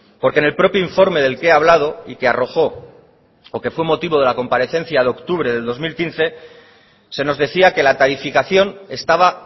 porque en el propio informe del que he hablado y que arrojó o que fue motivo de la comparecencia de octubre del dos mil quince se nos decía que la tarificación estaba